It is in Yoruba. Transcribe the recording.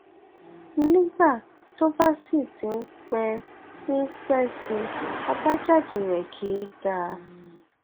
nígbà tó bá sì ti ń pẹ ń pẹ sí i àbájáde rẹ kìí dáa